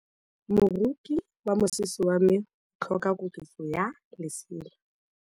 Moroki wa mosese wa me o tlhoka koketsô ya lesela.